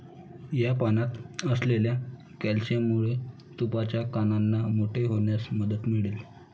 या पानात असलेल्या कॅलिशियममुळे तुपाच्या कानांना मोठे होण्यास मदत मिळेल.